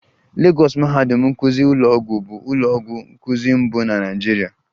Lagọs mahadum nkụzi ụlọọgwụ bụ ụlọ ọgwụ nkuzi mbụ na Naịjirịa